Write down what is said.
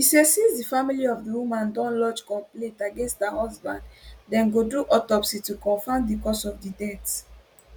e say since di family of di woman don lodge complaint against her husband dem go do autopsy to confam di cause of death